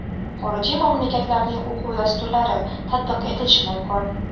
xorijiy mamlakatlarning o‘quv dasturlari tatbiq etilishi mumkin;.